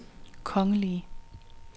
kongelige